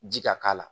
Ji ka k'a la